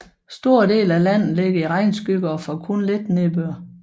Store dele af landet ligger i regnskygge og får kun lidt nedbør